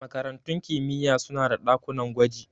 Makarantun kimiyya suna da ɗakunan gwaji.